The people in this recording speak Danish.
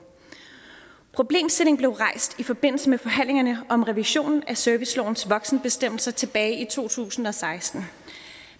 problemstillingen blev rejst i forbindelse med forhandlingerne om revision af servicelovens voksenbestemmelser tilbage i to tusind og seksten